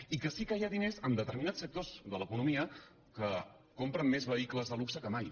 i que sí que hi ha diners en determinats sectors de l’economia que compren més vehicles de luxe que mai